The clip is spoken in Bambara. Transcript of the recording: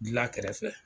Gila kɛrɛfɛ